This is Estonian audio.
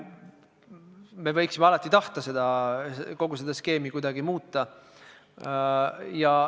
Me võiksime alati tahta kogu seda skeemi kuidagi muuta.